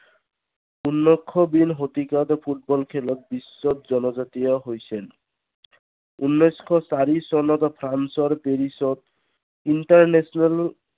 ষোল্লশবিংশ শতিকাত ফুটবল খেলত বিশ্বত জনজাতীয় হৈছেন। উনৈশশ চাল্লিচ চনত ফ্ৰান্সৰ পেৰিচত international